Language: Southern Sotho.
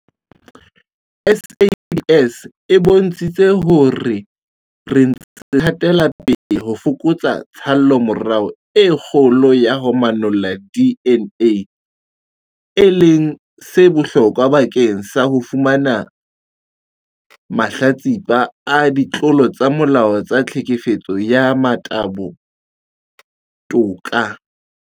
SAPS e bontshitse hore re ntse re hatela pele ho fokotsa tshallomora e kgolo ya ho manolla DNA, e leng se bohlokwa bakeng sa ho fumanela mahlatsipa a ditlolo tsa molao tsa tlhekefetso ya motabo toka.